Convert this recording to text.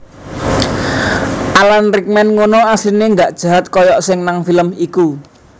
Alan Rickman ngunu asline gak jahat koyok sing nang film iku